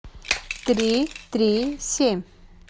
три три семь